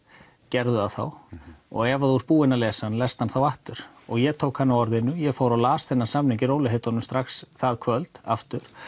gerðu það þá og ef þú ert búinn að lesa hann lestu hann á aftur ég tók hana á orðinu ég fór og las þennan samning í rólegheitunum strax það kvöld aftur